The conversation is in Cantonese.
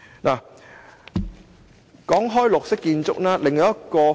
主席，除綠色建築外，另一個